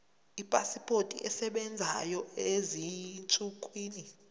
ipasipoti esebenzayo ezinsukwini